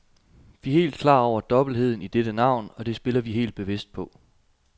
Vi er helt klar over dobbeltheden i dette navn, og det spiller vi helt bevidst på.